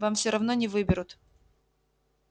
вам всё равно не выберут